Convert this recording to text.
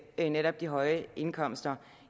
netop de høje indkomster